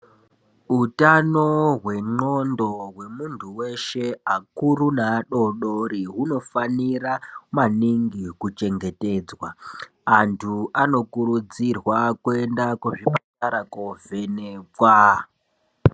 Utano wenglondo wemundu weshe akuru neadodori hunofanira maningi kuchengetedzwa andu anokuridzirwa kuenda kuzvipatara kundovhenekwa.